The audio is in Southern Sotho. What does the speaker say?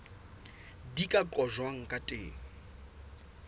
di ka qojwang ka teng